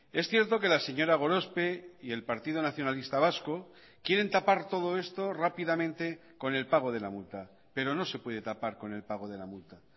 es cierto que la señora gorospe y el partido nacionalista vasco quieren tapar todo esto rápidamente con el pago de la multa pero no se puede tapar con el pago de la multa